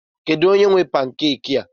Kedu onye nwe pankeki a?